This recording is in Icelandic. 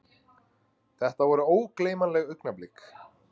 Þetta voru ógleymanleg augnablik.